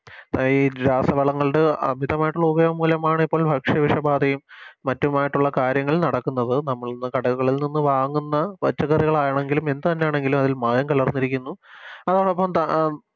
ഈ രാസവളങ്ങൾടെ അമിതമായിട്ടുള്ള ഉപയോഗം മൂലമാണ് ഇപ്പോൾ ഭക്ഷ്യ വിഷബാധയും മറ്റുമായിട്ടുള്ള കാര്യങ്ങൾ നടക്കുന്നത് നമ്മളിന്ന് കടകളിൽ നിന്നും വാങ്ങുന്ന പച്ചക്കറികളാണെങ്കിലും എന്ത് തന്നെയാണെങ്കിലും അതിൽ മായം കലർന്നിരിക്കുന്നു അതോടൊപ്പം ത